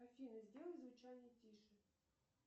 афина сделай звучание тише